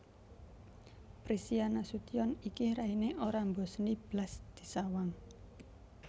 Prisia Nasution iki raine ora mboseni blas disawang